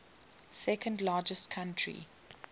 second largest country